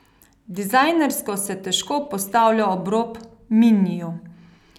Dizajnersko se težko postavlja ob rob miniju.